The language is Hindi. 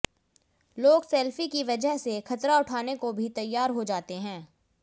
लोग सेल्फी की वजह से खतरा उठाने को भी तैयार हो जाते हैं